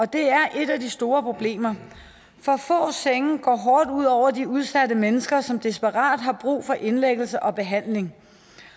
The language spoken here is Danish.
det er et af de store problemer for få senge går hårdt ud over de udsatte mennesker som desperat har brug for indlæggelse og behandling